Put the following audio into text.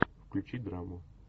включи драму